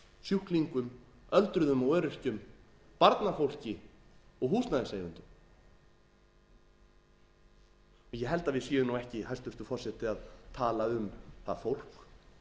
sjúklingum öldruðum og öryrkjum barnafólki og húsnæðiseigendum ég held að við séum nú ekki hæstvirtur forseti að tala um það fólk